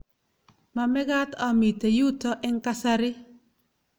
mamekat amite yuto eng' kasari